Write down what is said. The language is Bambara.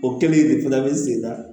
O kɛlen de fana bɛ segin na